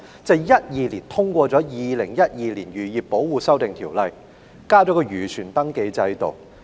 在2012年，《2012年漁業保護條例》生效，引入漁船登記制度。